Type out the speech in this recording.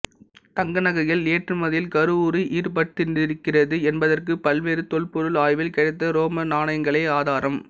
தங்கநகைகள் ஏற்றுமதியில் கருவூர் ஈடுபட்டிருந்திருக்கிறது என்பதற்கு பல்வேறு தொல்பொருள் ஆய்வில் கிடைத்த ரோம நாணயங்களே ஆதாரம்